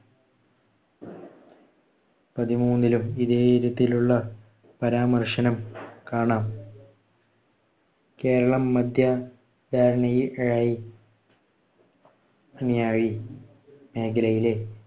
പതിമൂന്നിലും ഇതേ വിധത്തിലുള്ള പരാമർശനം കാണാം. കേരളം മധ്യ യില്‍ മേഖലയിലെ